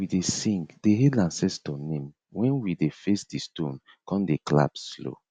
we dey sing dey hail ancestor name when we dey face di stone con dey clap slow